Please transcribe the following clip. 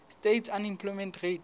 states unemployment rate